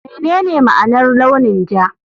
Menene ma'anar launin ja?